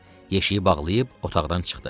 Yeşiyi bağlayıb otaqdan çıxdı.